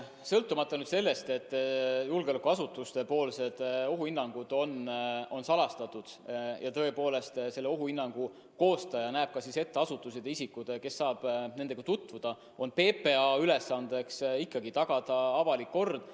Sõltumata sellest, et julgeolekuasutuste ohuhinnangud on salastatud ja tõepoolest ohuhinnangute koostaja näeb ette asutused ja isikud, kes saavad nendega tutvuda, on PPA ülesanne ikkagi tagada avalik kord.